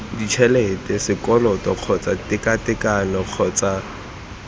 ditšhelete sekoloto kgotsa tekatekano kgotsa